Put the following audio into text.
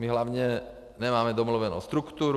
My hlavně nemáme domluvenu strukturu.